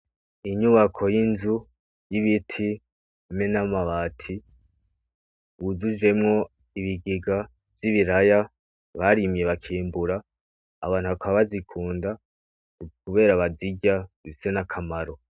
Inyubako y'inzu y'ibiti hamwe n'amabati wujujemwo ibigega vy'ibiraya barimye bakimbura .Abantu bakaba bazikunda kubera bazirya zifise n'akamaro.